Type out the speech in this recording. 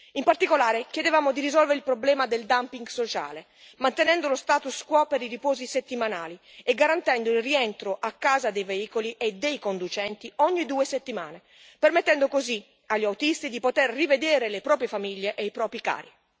In particolare, chiedevamo di risolvere il problema del dumping sociale, mantenendo lo status quo per i riposi settimanali e garantendo il rientro a casa dei veicoli e dei conducenti ogni due settimane, permettendo così agli autisti di poter rivedere le proprie famiglie e i propri cari.